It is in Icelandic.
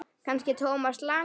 Kannski Thomas Lang?